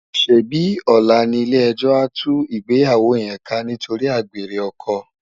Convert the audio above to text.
Sébi òlá ni ilé èjò á tú igbéyàwó yèn ká nitóri ágbéré òkò?